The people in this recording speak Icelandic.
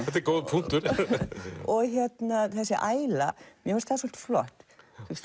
þetta er góður punktur þessi æla mér finnst það svolítið flott